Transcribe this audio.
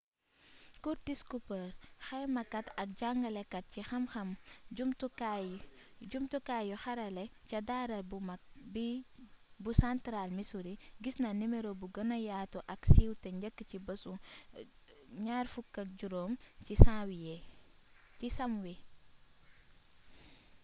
curtis cooper xaymakaat ak jangalekaat ci xam-xam jumtukaay yu xarale ca daara bu magg bi bu central missouri gisna nimero bu gëna yaatu ak siiw té njëkk ci béssu 25 si samwie